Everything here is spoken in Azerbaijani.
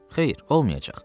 Xeyir, olmayacaq.